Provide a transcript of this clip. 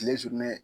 Kile sugunɛ